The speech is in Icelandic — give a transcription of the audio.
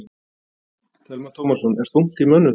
Telma Tómasson: Er þungt í mönnum þar?